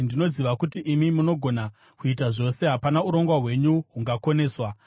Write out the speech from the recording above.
“Ndinoziva kuti imi munogona kuita zvose; hapana urongwa hwenyu hungakoneswa.